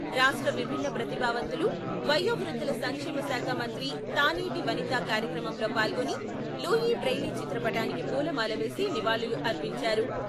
రాష్ట్ర విభిన్న ప్రతిభావంతులు, వయో వృద్ధుల సంక్షేమ శాఖ మంత్రి తానేటి వనిత కార్యక్రమంలో పాల్గొని లూఈ బ్రెయిలీ చిత్రపటానికి పూలమాల వేసి నివాళులు అర్పించారు.